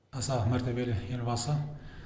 аса мәртебелі елбасы